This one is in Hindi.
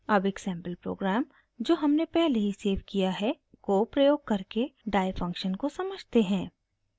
अब एक सैंपल प्रोग्राम जो हमने पहले ही सेव किया है को प्रयोग करके die फंक्शन को समझते हैं